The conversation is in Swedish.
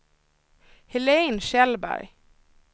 Helén Kjellberg